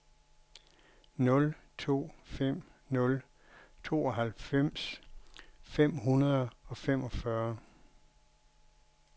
nul to fem nul tooghalvfems fem hundrede og femogfyrre